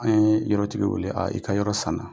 An ye yɔrɔ tigi wele i ka yɔrɔ san na.